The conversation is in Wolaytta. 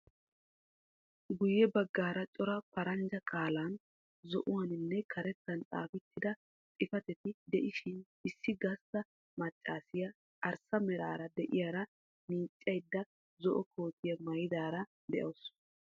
Guyye baggaara cora paraanjja qaalan zo"uwaaninne karettaan xaafettida xiifatetti de'iisihin issi gastta maccasiyaa arssa meraara de'iyaara miicaydda zo"o kootiyaa maayadaara de'awusu.